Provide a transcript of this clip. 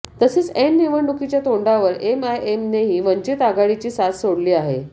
तसेच ऐन निवडणुकीच्या तोंडवर एमआयएमनेही वंचित आघाडीची साथ सोडली आहे